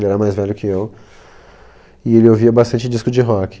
Ele era mais velho que eu e ele ouvia bastante disco de rock.